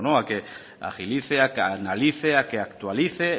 a que agilice a que analice a que actualice